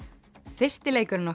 fyrsti leikurinn